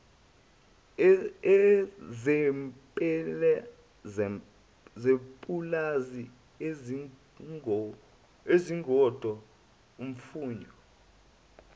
zepulazi izingodo imfuyo